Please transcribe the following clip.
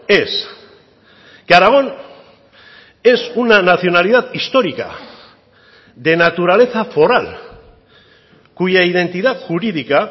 es que aragón es una nacionalidad histórica de naturaleza foral cuya identidad jurídica